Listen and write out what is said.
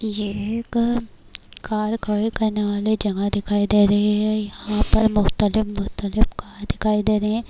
یہ ایک کار کھڈی کرنے والے جگہ دکھایی دے رہی ہیں، یھاں پر مختلف مختلف کار دکھایی دے رہی ہیں-